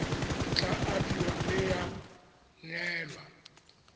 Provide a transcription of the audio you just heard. tla abiwa mme ya neelwa